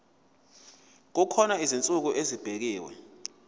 kukhona izinsuku ezibekiwe